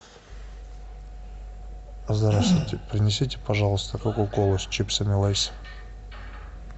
здравствуйте принесите пожалуйста кока колу с чипсами лейс